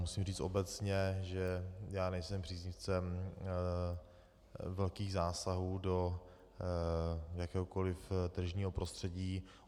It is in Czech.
Musím říct obecně, že já nejsem příznivcem velkých zásahů do jakéhokoli tržního prostředí.